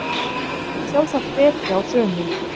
Sjálfsagt betri á sumum